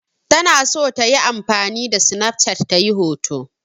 Tana so ta yi amfani da sinaf cat ta yi hoto.